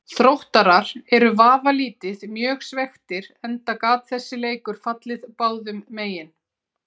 Þróttarar eru vafalítið mjög svekktir enda gat þessi leikur fallið báðum megin.